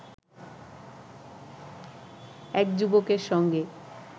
এক যুবকের সঙ্গে